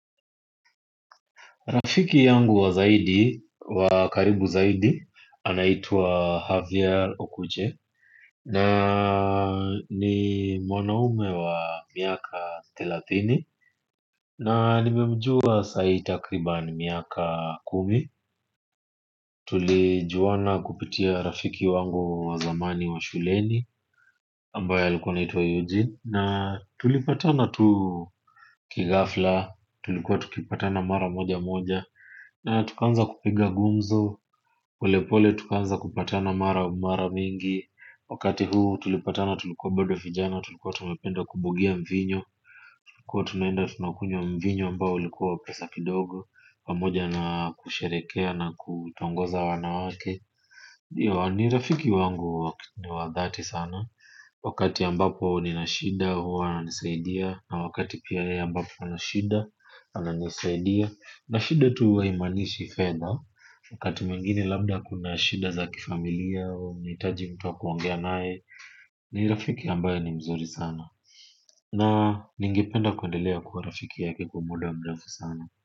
Rafiki yangu wa zaidi, wa karibu zaidi, anaitwa Havier Okuche. Na ni mwanaume wa miaka thelathini. Na nimemjua saai takriban miaka kumi. Tulijuwana kupitia rafiki wangu wa zamani wa shuleni ambaye alikuwa anaitwa Eugene. Na tulipatana tu kighafla. Tulikuwa tukipatana mara moja moja. Na tukaanza kupiga gumzo, pole pole tukaanza kupatana mara mingi. Wakati huu tulipatana tulikuwa bodo vijana, tulikuwa tumependa kubugia mvinyo. Kuwa tunaenda tunakunywa mvinyo ambao ulikuwa wa pesa kidogo pamoja na kusherekea na kutongoza wanawake. Ni rafiki wangu ni wa dhati sana. Wakati ambapo nina shida, huwa ananisaidia. Na wakati pia ambapo anashida, ananisaidia. Na shida tu huwa haimanishi fedha wakati mwengine labda kuna shida za kifamilia au unahitaji mtu wa kuongea naye. Ni rafiki ambaye ni mzuri sana na ningependa kuendelea kuwa rafiki yake kwa muda mrefu sana.